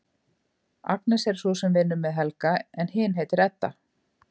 Agnes er sú sem vinnur með Helga en hin heitir Edda.